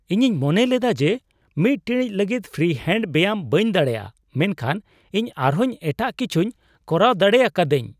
ᱤᱧᱤᱧ ᱢᱚᱱᱮ ᱞᱮᱫᱟ ᱡᱮ ᱢᱤᱫ ᱴᱤᱲᱤᱡ ᱞᱟᱹᱜᱤᱫ ᱯᱷᱨᱤ ᱦᱮᱱᱰ ᱵᱮᱭᱟᱢ ᱵᱟᱹᱧ ᱫᱟᱲᱮᱭᱟᱜᱼᱟ, ᱢᱮᱱᱠᱷᱟᱱ ᱤᱧ ᱟᱨᱦᱚᱸ ᱮᱴᱟᱜ ᱠᱤᱪᱷᱩᱧ ᱠᱚᱨᱟᱣ ᱫᱟᱲᱮ ᱟᱠᱟᱫᱟᱧ ᱾